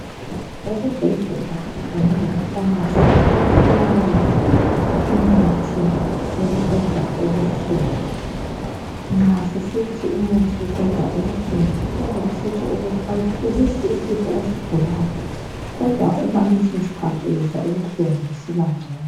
Esibhedlela kanye lemafamasi kuyatholakala imithi yokuqeda ubuhlungu. Nxa sisithi umuthi oqeda ubuhlungu kuyabe kusitsho ukuthi awuphelisi isifo osigulayo, kodwa okwaleso skhathi uyezwa ubuhlungu busiba ngcono.